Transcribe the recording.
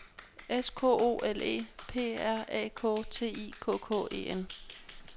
S K O L E P R A K T I K K E N